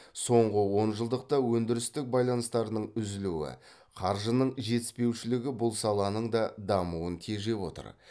соңғы онжылдықта өндірістік байланыстардың үзілуі қаржының жетіспеушілігі бұл саланың да дамуын тежеп отыр